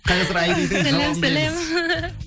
қазір айридің жауабын білеміз